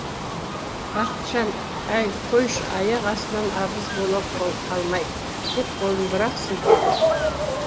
бақытжан әй қойшы аяқ астынан абыз бола қалмай деп қолын бір ақ сілтеді